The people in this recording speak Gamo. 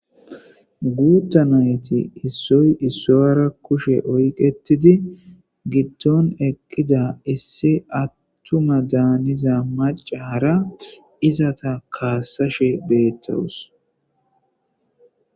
Guutta nayti issoy issoyara kushe oyqetidi gidton eqqida isse attuma daaniza macara izata kaasashe beettawus.